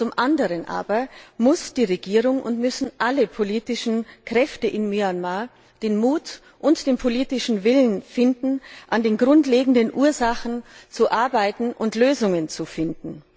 Zum anderen aber muss die Regierung und müssen alle politischen Kräfte in Myanmar den Mut und den politischen Willen finden, an den grundlegenden Ursachen zu arbeiten und Lösungen zu finden.